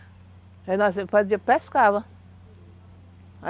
pescava.